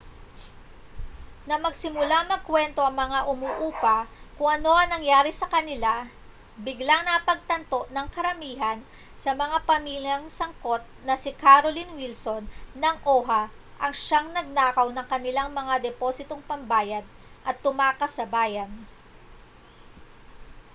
nang magsimulang magkuwento ang mga umuupa kung ano ang nangyari sa kanila biglang napagtanto ng karamihan sa mga pamilyang sangkot na si carolyn wilson ng oha ang siyang nagnakaw ng kanilang mga depositong pambayad at tumakas sa bayan